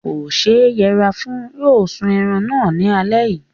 Kò ṣe yẹra fún. Yóò sún ẹran náà ní alẹ́ yìí.